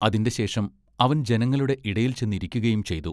അതിന്റെ ശേഷം അവൻ ജനങ്ങളുടെ ഇടയിൽ ചെന്ന് ഇരിക്കയും ചെയ്തു.